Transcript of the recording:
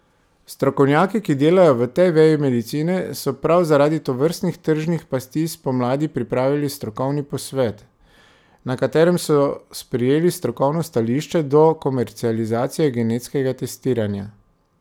Strokovnjaki, ki delajo v tej veji medicine, so prav zaradi tovrstnih tržnih pasti spomladi pripravili strokovni posvet, na katerem so sprejeli strokovno stališče do komercializacije genetskega testiranja.